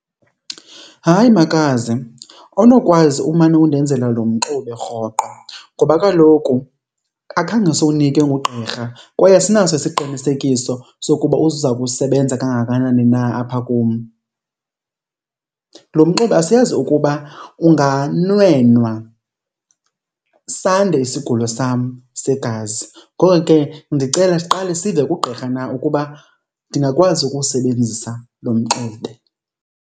Hayi makazi, awunokwazi umane undenzela lo mxube rhoqo ngoba kaloku akhange siwunikwe ngugqirha kwaye asinaso isiqinisekiso sokuba uza kusebenza kangakanani na apha kum. Lo mxube asiyazi ukuba unganwenwa sande isigulo sam segazi, ngoko ke ndicela siqale sive kugqirha na ukuba ndingakwazi ukuwusebenzisa lo mxube.